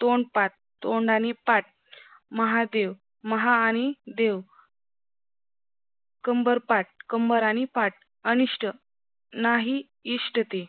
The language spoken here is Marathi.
तोंडपाठ तोंड आणि पाठ महादेव महा आणि देव कंबरपाठ कंबर आणि पाठ अनिष्ट नाही इष्टते